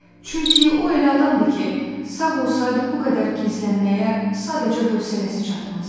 Çünki o elə adamdır ki, sağ olsaydı bu qədər gizlənməyə sadəcə hövsələsi çatmazdı.